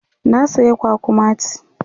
na saya kwakwamati